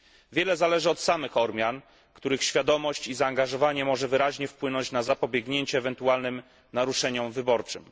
Wiele zależy od samych Ormian, których świadomość i zaangażowanie może wyraźnie wpłynąć na zapobiegnięcie ewentualnym naruszeniom wyborczym.